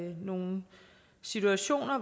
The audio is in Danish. nogle situationer